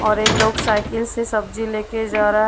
और एक लोग साइकिल से सब्जी लेके जा रहा--